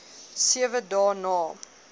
sewe dae na